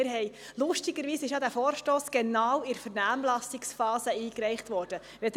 Es ist ja bemerkenswert, dass dieser Vorstoss genau in der Vernehmlassungsphase eingereicht worden ist.